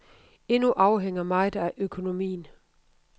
Endnu afhænger meget af økonomien.